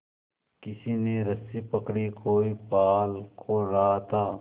किसी ने रस्सी पकड़ी कोई पाल खोल रहा था